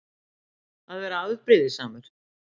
Að vera afbrýðisamur.